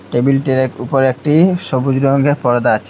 টেবিলটির উপরে একটি সবুজ রঙের পর্দা আছে।